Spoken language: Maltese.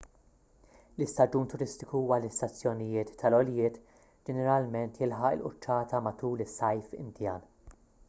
l-istaġun turistiku għall-istazzjonijiet tal-għoljiet ġeneralment jilħaq il-quċċata matul is-sajf indjan